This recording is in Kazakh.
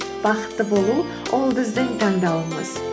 бақытты болу ол біздің таңдауымыз